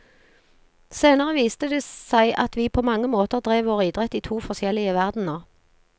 Senere viste det seg at vi på mange måter drev vår idrett i to forskjellige verdener.